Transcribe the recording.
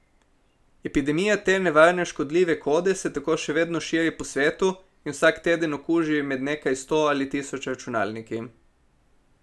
Epidemija te nevarne škodljive kode se tako še vedno širi po svetu in vsak teden okuži med nekaj sto ali tisoč računalniki.